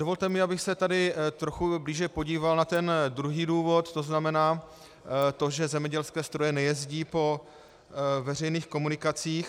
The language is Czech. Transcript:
Dovolte mi, abych se tady trochu blíže podíval na ten druhý důvod, to znamená to, že zemědělské stroje nejezdí po veřejných komunikacích.